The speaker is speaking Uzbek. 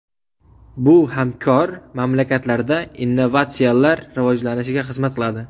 Bu hamkor mamlakatlarda innovatsiyalar rivojlanishiga xizmat qiladi.